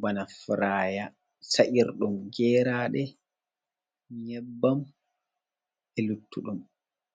bana furaaya sa’irɗum geeraaɗe, nyebbam, e luttuɗum.